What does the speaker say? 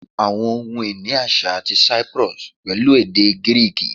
Awọn ohun-ini aṣa ti Cyprus pẹlu ede Giriki